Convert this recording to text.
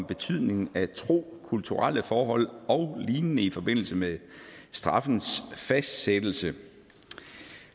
betydningen af tro kulturelle forhold og lignende i forbindelse med straffens fastsættelse